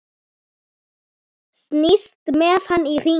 Snýst með hann í hringi.